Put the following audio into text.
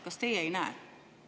Kas teie ei näe?